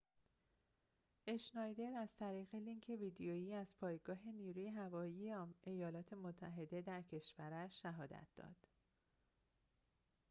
اشنایدر از طریق لینک ویدئویی از پایگاه نیروی هوایی ایالات متحده در کشورش شهادت داد